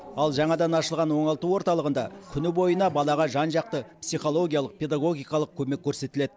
ал жаңадан ашылған оңалту орталығында күні бойына балаға жан жақты психологиялық педагогикалық көмек көрсетіледі